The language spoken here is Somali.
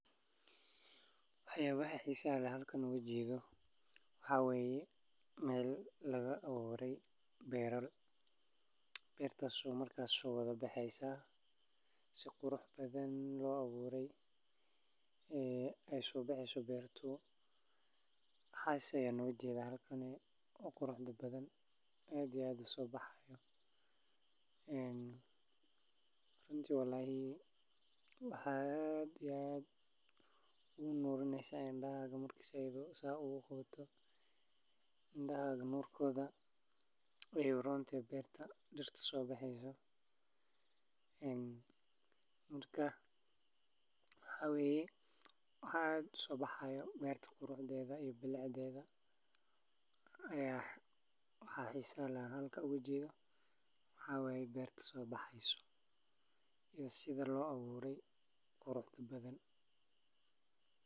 Dhulka la beero waa dhul bacrin ah oo diyaarsan si loogu abuuro dalagyo kala duwan sida masagada, galleyda, digirta, khudradda iyo miraha kale. Dhulka beeralayda isticmaalaan wuxuu u baahan yahay in si wanaagsan loo qodo, loo falkiyo, laguna daro bacriminta dabiiciga ah si dalagyadu u koraan si caafimaad leh. Marka dhulku diyaar noqdo, waxaa lagu beeraa abuurka, kadibna si joogto ah ayaa loo waraabiyaa. Beerta la waraabinayo waxay ka dhigaysaa dhulka mid qoyaan leh, taas oo muhiim u ah korriinta geedaha iyo dalagyada. Haddii dhulka aan la waraabin, dalagyadu way qalalaan oo waxsoosaarku wuu yaraanayaa.